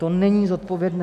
To není zodpovědné.